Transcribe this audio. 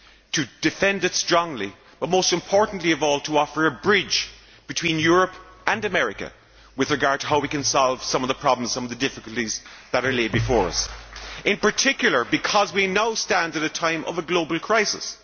to defend it strongly, but most importantly of all to offer a bridge between Europe and America with regard to how we can solve some of the problems and difficulties that are laid before us, particularly because we now stand at a time of a global crisis.